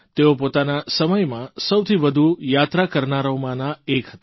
તેઓ પોતાના સમયમાં સૌથી વધુ યાત્રા કરનારામાંના એક હતા